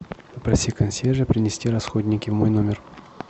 попроси консьержа принести расходники в мой номер